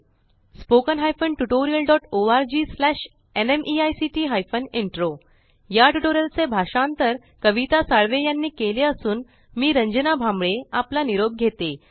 spoken hyphen tutorial dot org slash NMEICT hyphen intro या tutorial चे भाषांतर कविता साळवे यानी केले असून मी रंजना भांबळे आपला निरोप घेते